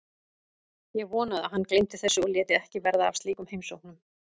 Ég vonaði að hann gleymdi þessu og léti ekki verða af slíkum heimsóknum.